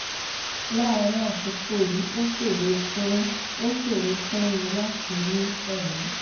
láàárín àkókò yìí ó ṣòro fún ó ṣòro fún mi láti mí ẹ̀mí